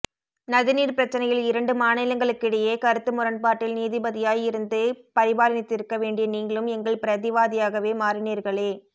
நதிநீர்ப் பிரச்சினையில் இரண்டு மாநிலங்களுக்கிடையே கருத்து முரண்பாட்டில் நீதிபதியாய் இருந்து பரிபாலனித்திருக்க வேண்டிய நீங்களும் எங்கள் பிரதிவாதியாகவே மாறினீர்களே